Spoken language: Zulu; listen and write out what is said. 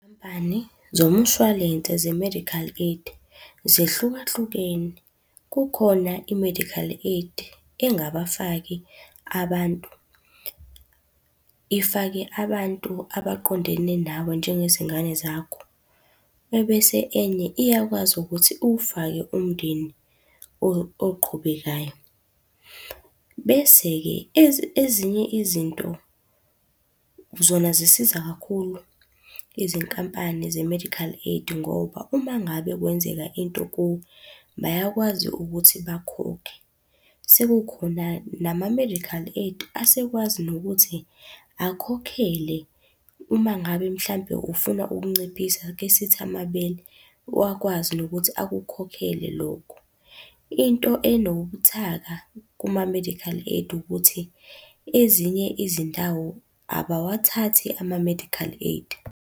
Nkampani zomshwalense ze-medical aid, zehlukahlukene. Kukhona i-medical aid engabafaki abantu, ifake abantu abaqondene nawe njengezingane zakho, ebese enye iyakwazi ukuthi uwufake umndeni oqhubekayo. Bese-ke ezinye izinto, zona zisiza kakhulu izinkampani ze-medical aid ngoba uma ngabe kwenzeka into kuwe, bayakwazi ukuthi bakhokhe. Sekukhona nama-medical aid asekwazi nokuthi akhokhele uma ngabe mhlampe ufuna ukunciphisa ake sithi amabele, wakwazi nokuthi akukhokhele lokho. Into enobuthaka kuma-medical aid ukuthi, ezinye izindawo abawathathi ama-medical aid.